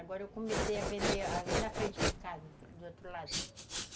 Agora eu comecei a vender ali na frente de casa, do outro lado.